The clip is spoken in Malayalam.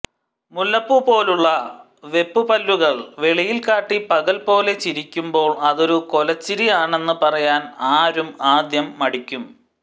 മുല്ലപ്പൂ പോലുള്ള വെപ്പുപല്ലുകൾ വെളിയിൽകാട്ടി പകൽപോലെ ചിരിക്കുമ്പോൾ അതൊരു കൊലച്ചിരി ആണെന്ന് പറയാൻ ആരും ആദ്യം മടിക്കും